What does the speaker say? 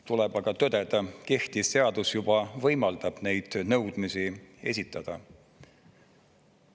Tuleb aga tõdeda, kehtiv seadus juba võimaldab neid nõudmisi esitada.